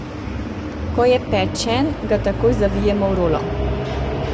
Ko je pečen, ga takoj zavijemo v rolo.